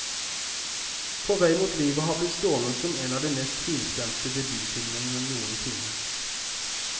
På vei mot livet har blitt stående som en av de mest finstemte debutfilmene noensinne.